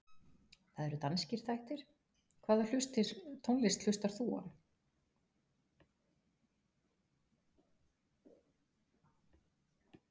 Það eru danskir þættir Hvaða tónlist hlustar þú á?